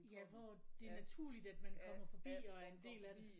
Ja hvor det er naturligt at man kommer forbi og er en del af det